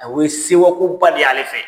Awɔ o ye sewakoba de y'ale fɛ.